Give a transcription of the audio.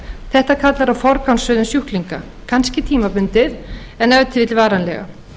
þetta kallar á forgangsröðun sjúklinga kannski tímabundið en ef til vill varanlega